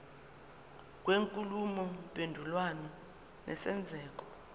kwenkulumo mpendulwano nesenzeko